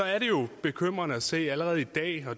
er det jo bekymrende at se på situationen allerede i dag det